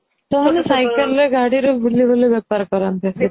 ସେମାନେ cycleରେ ଗାଡିରେ ବୁଲିବୁଲି ବେପାର କରନ୍ତି